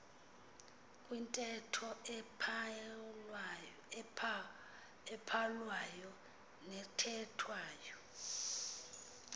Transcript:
kwintetho ebhalwayo nethethwayo